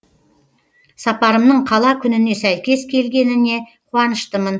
сапарымның қала күніне сәйкес келгеніне қуаныштымын